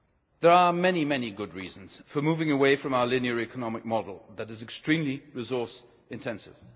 There are many good reasons for moving away from our linear economic model, which is extremely resource intensive.